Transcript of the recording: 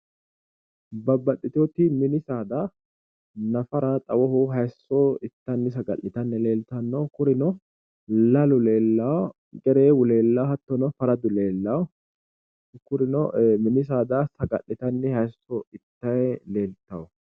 Babbaxxiteyooti mini saada nafara xawoho hayiisso ittanni saga'litanni leeltanno kurino lalu leellawo gereewu leellawo hattono faradu leellawo kurino mini saada sag'litanni hayiisso ittayi leeltawo